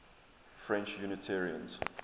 french unitarians